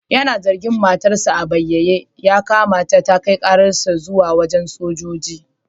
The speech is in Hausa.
Yana zagin matar sa a banyaye, ya kamata ta kai ƙaran shi zuwa wajan sojoji.